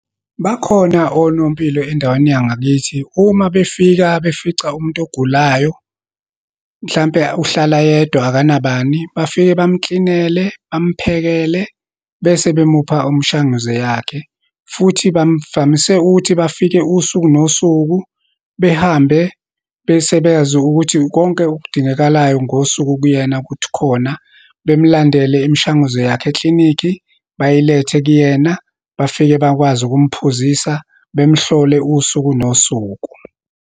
Bakhona onompilo endaweni yangakithi, uma befika befica umuntu ogulayo, mhlampe uhlala yedwa, akanabani. Bafike bemklinele, bamphekele, bese bemupha umshanguze yakhe. Futhi bamvamise ukuthi bafike usuku nosuku, behambe, bese beyazi ukuthi konke okudingekalayo ngosuku kuyena kuthi khona, bemlandele imishanguzo yakho eklinikhi, bayilethe kuyena, bafike bakwazi ukumphuzisa, bemhlole usuku nosuku.